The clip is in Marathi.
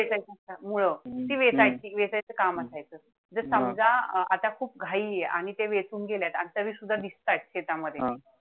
मूळ. ती वेचायची वेचायची काम असायचं. त समजा आता खूप घाई आणि ते वेचून गेलेत तरीसुद्धा दिसतायत शेतामध्ये,